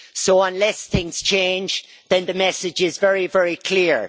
So unless things change the message is very, very clear.